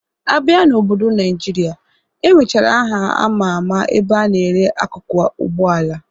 Abịa n'obodo Naịjirịa, enwechara aha ama ama ebe a na-ere akụkụ Ụgbọala